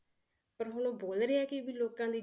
ਪਰ ਹੁਣ ਬੋਲ ਰਹੇ ਹੈ ਕਿ ਵੀ ਲੋਕਾਂ ਨੇ